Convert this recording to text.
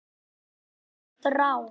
Gott ráð